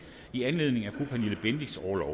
i anledning af pernille bendixens orlov